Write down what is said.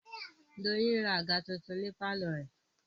Doyin ra àga tuntun ní pálọ̀ rẹ̀